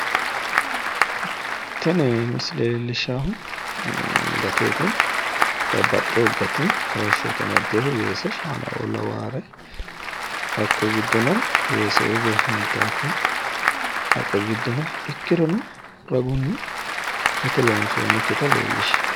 Tini misile leellishshaahu gateeti babbaxxewo hate kaashsho amadewoho weese shaanaio lawaare hakko giddono weese huntaakki haqqe giddo no ikkirono ragunni gate loonsoonnikkita leellishshanno.